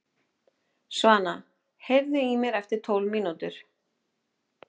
Svana, heyrðu í mér eftir tólf mínútur.